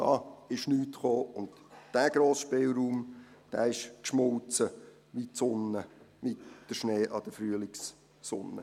Da ist nichts gekommen, und dieser grosse Spielraum ist geschmolzen wie der Schnee an der Frühlingssonne.